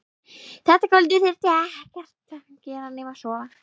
Þetta kvöld þurfti ekkert að gera nema sofa.